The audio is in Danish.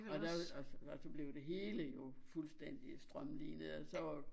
Og der var og blev det hele jo fuldstændig strømlinet og så var